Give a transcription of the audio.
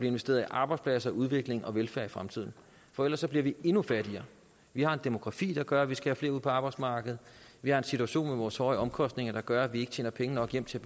investeret i arbejdspladser udvikling og velfærd i fremtiden for ellers så bliver vi endnu fattigere vi har en demografi der gør at vi skal have flere ud på arbejdsmarkedet vi har en situation med vores høje omkostninger der gør at vi ikke tjener penge nok hjem til